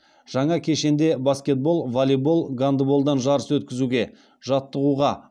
жаңа кешенде баскетбол волейбол гандболдан жарыс өткізуге жаттығуға